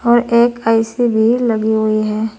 और एक ए_सी भी लगी हुई है।